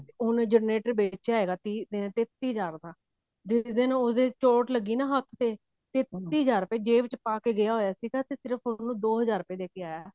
ਉਹਨੇ generator ਵੇਚਿਆ ਹੈਗਾ ਤੀਹ ਤੇਤੀ ਹਜ਼ਾਰ ਆ ਜਿਸ ਦਿਨ ਉਸਦੇ ਚੋਟ ਲੱਗੀ ਨਾ ਹੱਥ ਤੇ ਹਜ਼ਾਰ ਰੁਪੇ ਜ਼ੇਬ ਚ ਪਾ ਕੇ ਗਿਆ ਹੋਇਆ ਸੀ ਤੇ ਸਿਰਫ ਉਹਨੂੰ ਦੋ ਹਜ਼ਾਰ ਰੁਪੇ ਦੇਕੇ ਆਇਆ